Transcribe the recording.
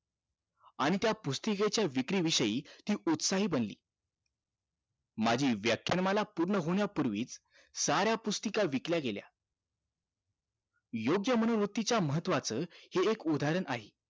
आणि त्या पुस्तिकेच्या विक्री विषयी ती उत्साही बनली माझी व्याख्यानमाला पूर्ण होण्यापूर्वी साऱ्या पुस्तिका विकल्या गेल्या महत्वाचं हे एक उदाहरण आहे